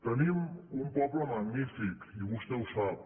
tenim un poble magnífic i vostè ho sap